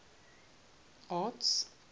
arts